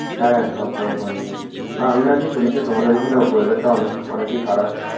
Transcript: হ্যাঁ, খাওয়া দাওয়া করে নিয়েছি। না, আমি নাকি শুনেছি তোমাদের ওখানে weather টা অনেক অনেকই খারাপ?